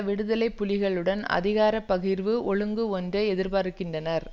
விடுதலை புலிகளுடன் அதிகார பகிர்வு ஒழுங்கு ஒன்றை எதிர்பார்க்கின்றனர்